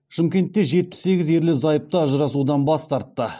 шымкентте жетпіс сегіз ерлі зайыпты ажырасудан бас тартты